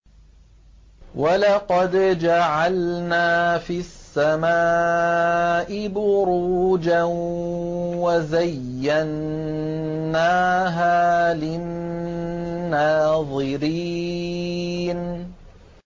وَلَقَدْ جَعَلْنَا فِي السَّمَاءِ بُرُوجًا وَزَيَّنَّاهَا لِلنَّاظِرِينَ